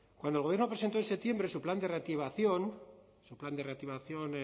cuando el gobierno presentó en septiembre su plan de reactivación el plan de reactivación